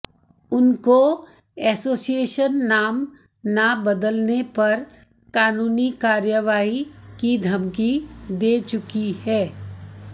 उनको एसोसिएशन नाम ना बदलने पर कानूनी कार्रवाई की धमकी दे चुकी है